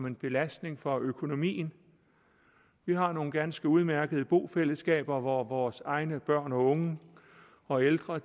en belastning for økonomien vi har nogle ganske udmærkede bofællesskaber hvor vores egne børn og unge og ældre